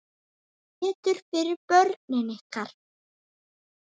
Og betur fyrir börnin ykkar.